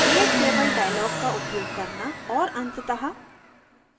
create table dialog का उपयोग करना और अंततः